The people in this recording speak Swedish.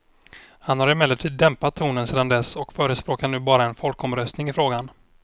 Han har emellertid dämpat tonen sedan dess och förespråkar nu bara en folkomröstning i frågan.